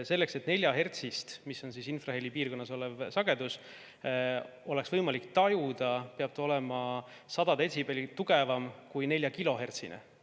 Selleks, et 4‑hertsist, mis on infraheli piirkonnas olev sagedus, oleks võimalik tajuda, peab see olema 100 detsibelli tugevam kui 4‑kilohertsine.